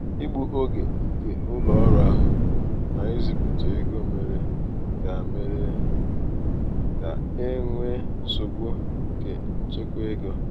igbu oge nke ụlọ ọrụ ahụ n'izipụ égo mere ka mere ka e nwee nsogbu nke nchekwa ego